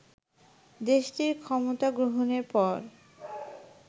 দেশটির ক্ষমতা গ্রহণের পর